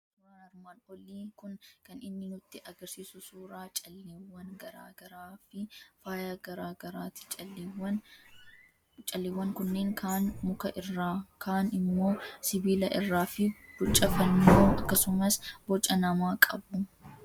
Suuraan armaan olii kun kan inni nutti argisiisu suuraa calleewwan garaa garaa fi faaya garaa garaati. Calleewwan kunneen kaan muka irraa, kaan immoo sibiila irraa fi boca fannoo akkasumas boca namaa qabu.